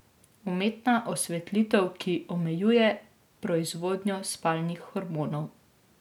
Umetna osvetlitev, ki omejuje proizvodnjo spalnih hormonov.